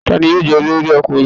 Ta ni yóò jẹ́ olórí ọkùnrin tuntun?